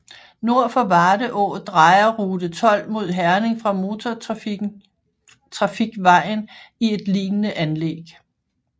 Nord for Varde Å drejer rute 12 mod Herning fra motortrafikvejen i et lignende anlæg